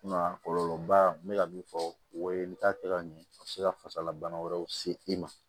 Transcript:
Kuma kɔlɔlɔ ba n bɛ ka min fɔ o ye i bɛ taa kɛ ka ɲɛ a bɛ se ka fasala bana wɛrɛw se i ma